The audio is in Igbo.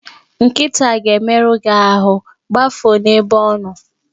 Nkịta a ga-emerụ gi ahụ, gbafuo n'ebe ọ nọ!